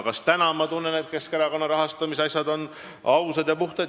Kas ma tunnen, et Keskerakonna rahaasjad on praegu ausad ja puhtad?